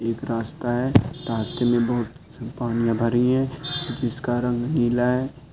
एक रास्ता है रास्ते में बहुत पनिया भरी है जिसका रंग नीला है।